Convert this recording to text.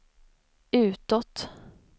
utåt